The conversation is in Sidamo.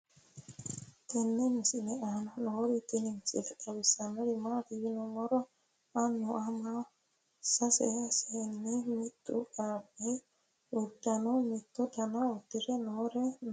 tenne misile aana noorina tini misile xawissannori maati yinummoro aannu Amma sase seenni mittu qaaqqi uudunne mittu danniha udirre noori noo